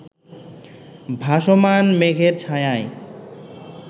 ভাসমান মেঘের ছায়ায়